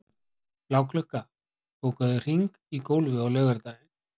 Bláklukka, bókaðu hring í golf á laugardaginn.